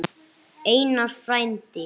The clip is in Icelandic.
Einar frændi.